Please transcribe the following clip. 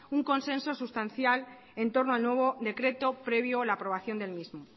un consenso sustancial en torno al nuevo decreto previo la aprobación del mismo